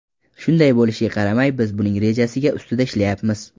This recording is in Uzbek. Shunday bo‘lishiga qaramay, biz buning rejasiga ustida ishlayapmiz.